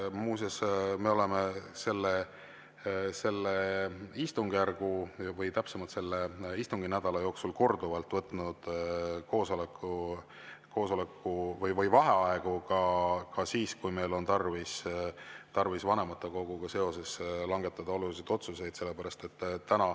Muuseas, me oleme selle istungjärgu või täpsemalt selle istunginädala jooksul korduvalt võtnud vaheaegu ka siis, kui meil on tarvis vanematekogus langetada olulisi otsuseid.